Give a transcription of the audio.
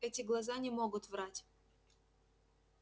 эти глаза не могут врать